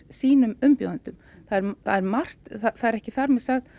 sínum umbjóðendum það er það er ekki þar með sagt